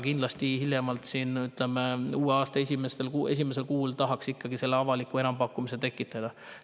Aga hiljemalt uue aasta esimesel kuul tahaks kindlasti selle avaliku enampakkumise tekitada.